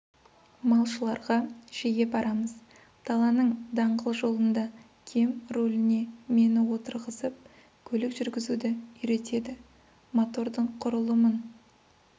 малшыларға жиі барамыз даланың даңғыл жолында кем руліне мені отырғызып көлік жүргізуді үйретеді мотордың құрылымын